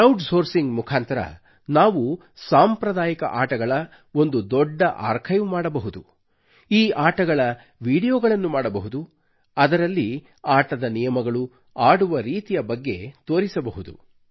crowd sourcing ಮುಖಾಂತರ ನಾವು ನಮ್ಮ ಸಾಂಪ್ರದಾಯಿಕ ಆಟಗಳ ಒಂದು ದೊಡ್ಡ ಆರ್ಖೈವ್ ಮಾಡಬಹುದು ಈ ಆಟಗಳ ವಿಡಿಯೋಗಳನ್ನು ಮಾಡಬಹುದು ಅದರಲ್ಲಿ ಆಟದ ನಿಯಮಗಳು ಆಡುವ ರೀತಿಯ ಬಗ್ಗೆ ತೋರಿಸಬಹುದು